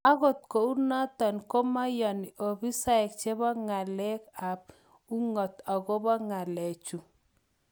Angot kunotok komeyani ofisaek chepo Ngaleek ap ung'ot agopo ng'alechu